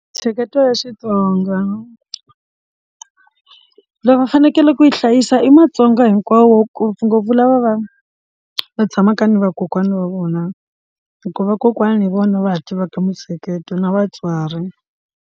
Mintsheketo ya xitsonga loko va fanekele ku yi hlayisa i matsonga hinkwawo ngopfungopfu lava va va tshamaka ni vakokwana va vona hikuva vakokwana hi vona va tivaka mintsheketo na vatswari.